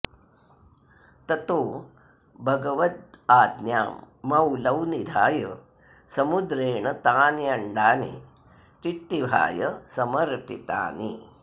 ततो भगवदाज्ञां मौलौ निधाय समुद्रेण तान्यण्डानि टिट्टिभाय समर्पितानि